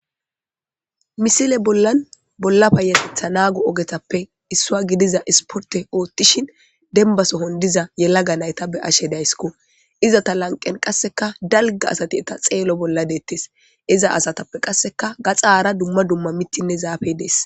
misile bollan bolla bayaletha naagu ogetappe issua gidiza isporte oottishin denba sohon diza yelaga nayta be ashe dayssko iza ta lanqen qasseka dalga asati eta xeelo bolla deettes iza asatappe qasseka gaxaara dumma dumma mittinne zaafey dees